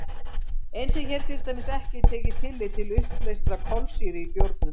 Eins er hér til dæmis ekki tekið tillit til uppleystrar kolsýru í bjórnum.